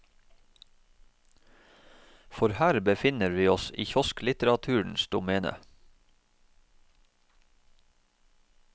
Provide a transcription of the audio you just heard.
For her befinner vi oss i kiosklitteraturens domene.